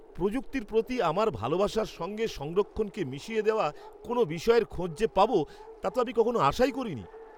প্রযুক্তির প্রতি আমার ভালোবাসার সঙ্গে সংরক্ষণকে মিশিয়ে দেওয়া কোনও বিষয়ের খোঁজ যে পাবো, তা তো আমি কখনও আশাই করিনি!